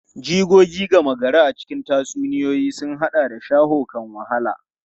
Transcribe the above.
Jigogi gama gari a cikin tatsuniyoyi sun haɗa da shawo kan wahala.